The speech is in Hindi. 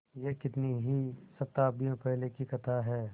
यह कितनी ही शताब्दियों पहले की कथा है